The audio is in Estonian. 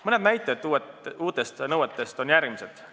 Mõned näited uute nõuete kohta on järgmised.